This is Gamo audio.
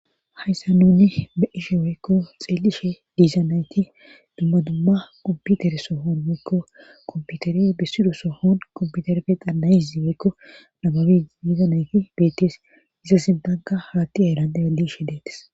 hayssa nuni be7ishe weykko xeelishe diizanayti dumma dumma ubbutere sohoon weykko komputere bissido sohoon komputerefe qannayizi weykko nababi diizanayti beettes iza sintanka haatti aylante adishe detes